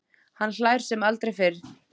Hann hlær sem aldrei fyrr.